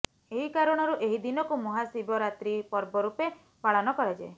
ଏହିକାରଣରୁ ଏହି ଦିନକୁ ମହାଶିବରାତ୍ରୀ ପର୍ବ ରୂପେ ପାଳନ କରାଯାଏ